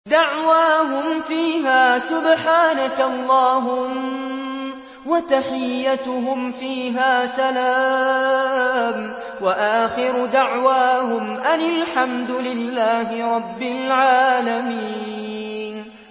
دَعْوَاهُمْ فِيهَا سُبْحَانَكَ اللَّهُمَّ وَتَحِيَّتُهُمْ فِيهَا سَلَامٌ ۚ وَآخِرُ دَعْوَاهُمْ أَنِ الْحَمْدُ لِلَّهِ رَبِّ الْعَالَمِينَ